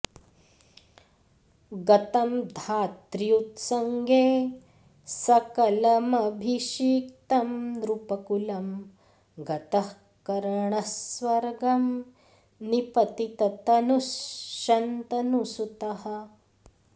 गतं धात्र्युत्सङ्गे सकलमभिषिक्तं नृपकुलं गतः कर्णः स्वर्गं निपतिततनुः शन्तनुसुतः